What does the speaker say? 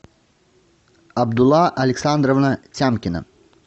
абдулла александровна тямкина